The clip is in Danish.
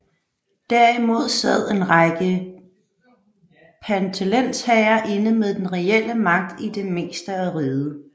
Derimod sad en række pantelensherrer inde med den reelle magt i det meste af riget